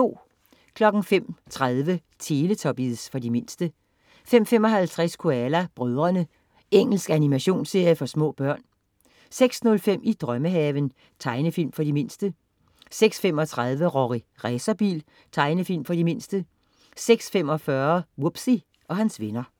05.30 Teletubbies. For de mindste 05.55 Koala brødrene. Engelsk animationsserie for små børn 06.05 I drømmehaven. Tegnefilm for de mindste 06.35 Rorri Racerbil. Tegnefilm for de mindste 06.45 Wubbzy og hans venner